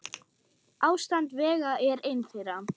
Ástand vega er ein þeirra.